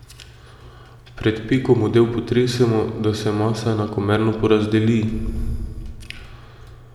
Pred peko model potresemo, da se masa enakomerno porazdeli.